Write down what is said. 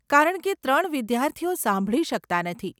કારણકે ત્રણ વિદ્યાર્થીઓ સાંભળી શકતા નથી.